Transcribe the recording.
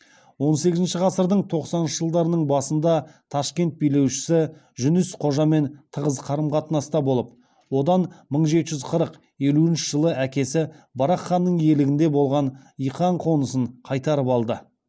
он сегізінші ғасырдың тоқсаныншы жылдарының басында ташкент билеушісі жүніс қожамен тығыз қарым қатынаста болып одан мың жеті жүз қырық елуінші жылы әкесі барақ ханның иелігінде болған иқан қонысын қайтарып алды